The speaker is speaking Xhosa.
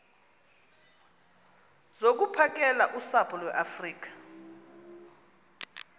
zokuphakela usapho iweafrika